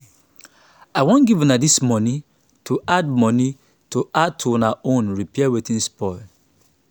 i wan give una dis money to add money to add to una own repair wetin spoil